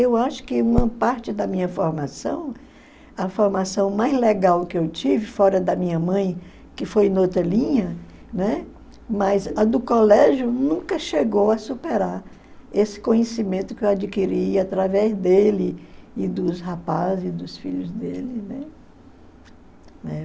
Eu acho que uma parte da minha formação, a formação mais legal que eu tive fora da minha mãe, que foi em outra linha, né, mas a do colégio nunca chegou a superar esse conhecimento que eu adquiri através dele e dos rapazes e dos filhos dele, né?